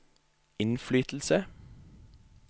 innflytelse